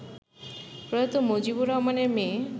প্রয়াত মজিবর রহমানের মেয়ে